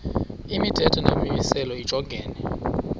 imithetho nemimiselo lijongene